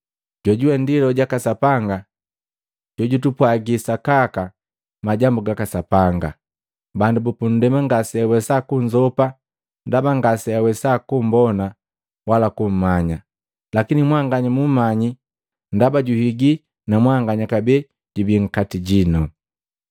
Jojuwe ndi Loho jaka Sapanga jojutupwaji sakaka majambu gaka Sapanga. Bandu bupundema ngaseawesa kunzopa ndaba ngase awesa kumbona wala kummanya. Lakini mwanganya mumanyi ndaba juhigii na mwanganya kabee jubi nkati jinu.